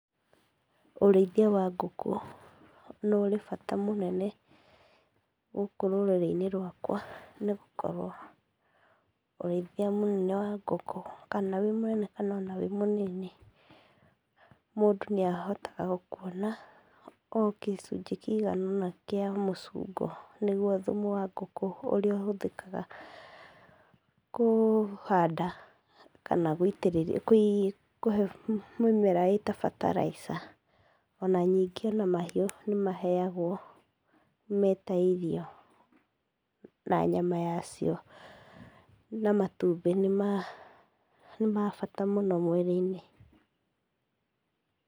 ũrĩithia wa ngũkũ nĩ ũrĩ bata mũnene gũkũ rũrĩrĩ-inĩ rwakwa, nĩgũkorwo ũrĩithia mũnene wa ngũkũ kana wĩ mũnene kana ona wĩ mũnini, mũndũ nĩahotaga kuona gĩcunjĩ kĩigana ũna kĩa mũcungo, nĩguo thumu wa ngũkũ ũrĩa ũhũthĩkaga kũhanda kana kũhe mĩmera ĩĩ ta fertilizer, ona ningĩ ona mahiũ nĩ maheagwo me ta irio, na nyama ya cio na matumbĩ nĩ ma bata mũno mwĩrĩ-inĩ